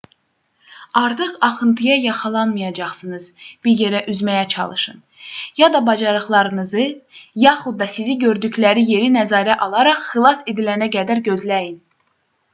artıq axıntıya yaxalanmayacağınız bir yerə üzməyə çalışın ya da bacarıqlarınızı yaxud da sizi gördükləri yeri nəzərə alaraq xilas edilənə qədər gözləyin